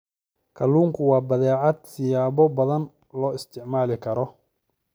Kalluunku waa badeecad siyaabo badan loo isticmaali karo.